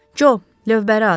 Co, lövbəri at!